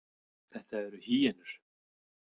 Þetta eru hýenur.